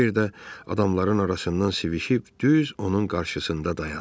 Kiber də adamların arasından sivişib düz onun qarşısında dayandı.